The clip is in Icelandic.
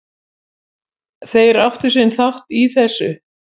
Þeir áttu sinn þátt í þessu